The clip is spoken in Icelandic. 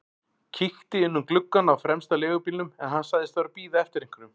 Kíkti inn um gluggann á fremsta leigubílnum en hann sagðist vera að bíða eftir einhverjum.